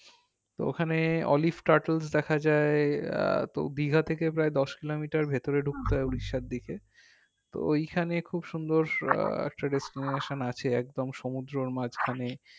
তো ওখানে olive statles দেখা যাই আহ তো দীঘা থেকে প্রায় দশ কিলোমিটার ভেতরে ঢুকতে হয় উড়িষ্যার দিকে তো ঐখানে খুব সুন্দর আহ একটা destination আছে একদম সমুদ্রর মাঝখানে